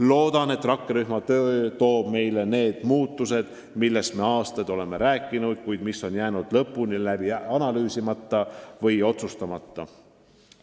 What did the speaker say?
Loodan, et rakkerühma töö toob kaasa need muutused, millest me aastaid oleme rääkinud, kuid mis on jäänud lõpuni läbi analüüsimata või otsustamata.